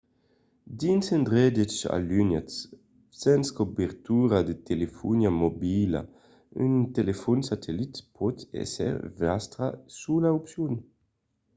dins d'endreches alunhats sens cobertura de telefonia mobila un telefòn satellit pòt èsser vòstra sola opcion